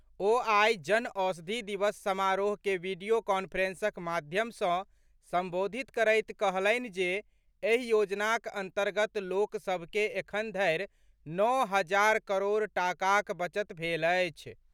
ओ आइ जन औषधि दिवस समारोह के वीडियो कॉन्फ्रेंसक माध्यम सॅ संबोधित करैत कहलनि जे एहि योजनाक अंतर्गत लोकसभ के एखन धरि नओ हजार करोड़ टाकाक बचत भेल अछि।